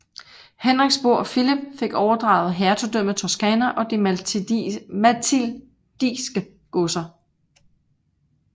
Henriks bror Filip fik overdraget hertugdømmet Toscana og de matildiske godser